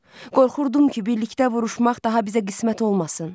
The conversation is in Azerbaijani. Qorxurdum ki, birlikdə vuruşmaq daha bizə qismət olmasın.